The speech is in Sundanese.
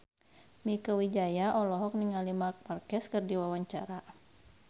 Mieke Wijaya olohok ningali Marc Marquez keur diwawancara